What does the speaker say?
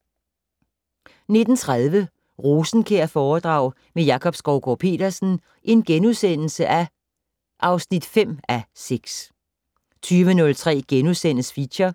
19:30: Rosenkjærforedrag med Jakob Skovgaard-Petersen (5:6)* 20:03: Feature